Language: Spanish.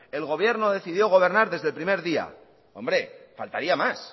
el gobierno decidió gobernar desde el primer día hombre faltaría más